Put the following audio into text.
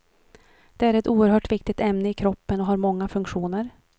Det är ett oerhört viktigt ämne i kroppen och har många funktioner.